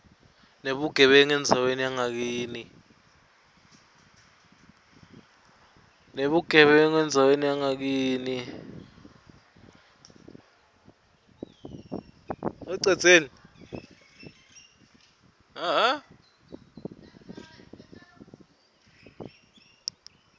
nebugebengu endzaweni yangakini